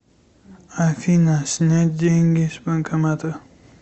афина снять деньги с банкомата